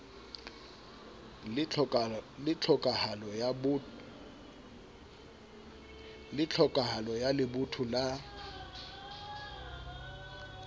le tlhokahalo ya lebotho la